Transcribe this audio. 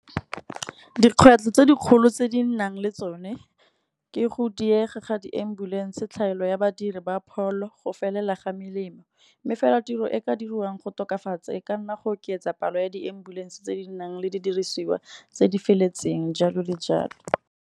Dikgwetlho tse dikgolo tse di nnang le tsone ke go diega ga di-ambulance, tlhaelo ya badiri ba pholo, go felela ga melemo. Mme fela tiro e ka dirwang go tokafatsa e ka nna go oketsa palo ya di-ambulance, tse di nang le di diriswa tse di feletseng jalo le jalo.